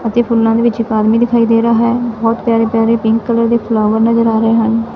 ਅਤੇ ਫੁੱਲਾਂ ਦੇ ਵਿੱਚ ਇੱਕ ਆਦਮੀ ਦਿਖਾਈ ਦੇ ਰੇਹਾ ਹੈ ਬੋਹਤ ਪਿਆਰੇ ਪਿਆਰੇ ਪਿੰਕ ਕਲਰ ਦੇ ਫਲਾਵਾਰ ਨਜਰ ਆ ਰਹੇ ਹਨ।